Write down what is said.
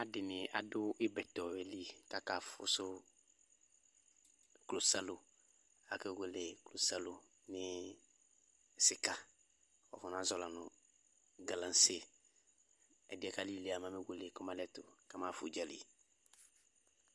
Alʊ ɛdɩnɩ dʊ ibɛtɔyɛlɩ kʊ akafʊsʊ klosalo akewele klosalo nɩɩ sika wafɔna zɔyɩ lanʊ galasɩ ɛdɩyɛ kalili mɛ amewele kamalɩɛtʊ kama xafa nʊ ʊdzalɩ